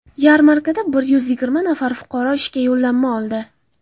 Yarmarkada bir yuz yigirma nafar fuqaro ishga yo‘llanma oldi.